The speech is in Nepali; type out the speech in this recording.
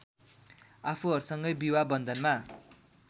आफूहरूसँगै विवाह वन्धनमा